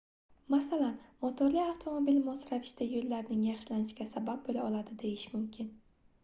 masalan motorli avtomobil mos ravishda yoʻllarning yaxshilanishiga sabab boʻla oladi deyish mumkin